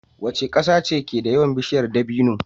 Waca ƙasa keda yawan bishiyar dabino